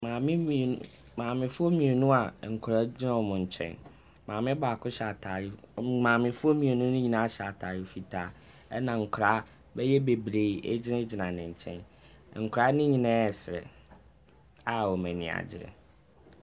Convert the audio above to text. Maame foɔ mmienu a nkɔlaa gyina ɔmo nkyɛn. Maame baako hyɛ ataare, maame foɔ mmienu nyinaa hyɛ ataare fitaa ɛna nkɔlaa bɛyɛ bebree agyina gyina n'enkyɛn. Nkɔlaa no nyinaa ɛsere a ɔmo ani agye.